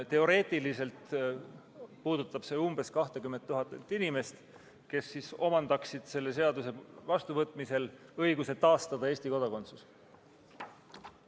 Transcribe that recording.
Teoreetiliselt puudutab see umbes 20 000 inimest, kes omandaksid selle seaduse vastuvõtmisel õiguse taastada Eesti kodakondsus.